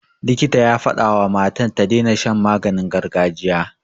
Likita ya fadawa wa matan ta daina shan maganin gargajiya.